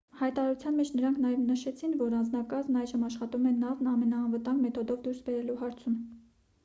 հայտարարության մեջ նրանք նաև նշեցին որ անձնակազմն այժմ աշխատում է նավն ամենաանվտանգ մեթոդով դուրս բերելու հարցում